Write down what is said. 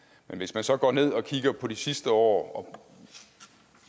men hvis man så går ned og kigger på de sidste år